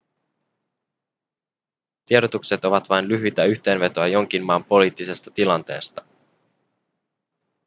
tiedotukset ovat vain lyhyitä yhteenvetoja jonkin maan poliittisesta tilanteesta